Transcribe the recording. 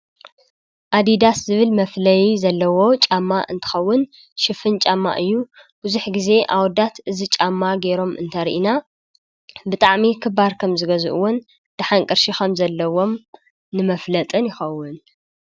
ኣዲዳስ ዝብል መፍለዪ ዘለዎ ጫማ እንትኸውን ሽፍን ጫማ እዩ። ብዙ ግዜ ኣወዳት እዚ ጫማ ገይሮም እንተርኢና ብጣዕሚ ክባር ከምዝገዝእዎን ድሓን ቀርሺ ከምዘለዎም ንመፍለጥን ይኸውን።